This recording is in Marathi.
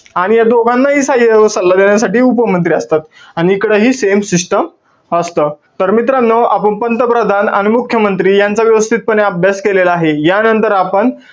नि या दोघांनाही सहाय्य्य व सल्ला देण्यासाठी उपमंत्री असतात. आणि इकडं हे same system असतं. तर मित्रांनो, आपण पंतप्रधान आणि मुख्यमंत्री यांचा व्यवस्थितपणे अभ्यास केलेला आहे. यानंतर आपण,